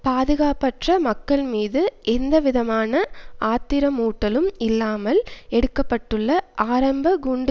பாதுகாப்பற்ற மக்கள் மீது எந்தவிதமான ஆத்திரமூட்டலும் இல்லாமல் எடுக்க பட்டுள்ள ஆரம்ப குண்டு